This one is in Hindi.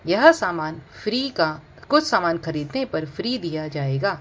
यह सामान फ्री का कुछ सामान खरीदने पर फ्री दिया जाएगा।